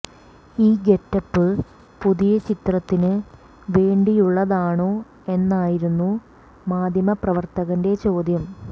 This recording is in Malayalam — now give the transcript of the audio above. ഈ ഗെറ്റപ്പ് പുതിയ ചിത്രത്തിന് വേണ്ടിയുള്ളതാണോ എന്നായിരുന്നു മാധ്യമ പ്രവര്ത്തകന്റെ ചോദ്യം